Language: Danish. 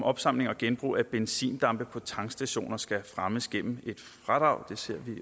opsamling og genbrug af benzindampe på tankstationer skal fremmes gennem et fradrag det ser vi